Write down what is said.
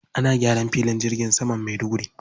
Ana gyaran filin jirgin saman Maiduguri.